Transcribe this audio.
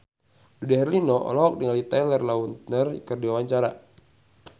Dude Herlino olohok ningali Taylor Lautner keur diwawancara